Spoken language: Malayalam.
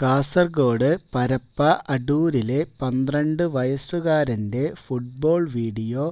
കാസര്ഗോഡ് പരപ്പ അഡൂരിലെ പന്ത്രണ്ട് വയസ്സുക്കാരന്റെ ഫുട്ബോള് വീഡിയോ